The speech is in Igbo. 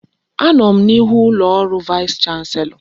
Anọ m n'ihu ụlọ ọrụ vaịs chanselọ.